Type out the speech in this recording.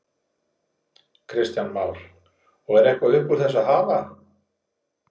Kristján Már: Og er eitthvað upp úr þessu að hafa?